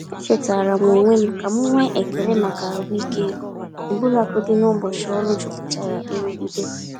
Echetaara m onwe m ka m nwee ekele maka ahụike ọbụlagodi n’ụbọchị ọrụ jupụtara nrụgide.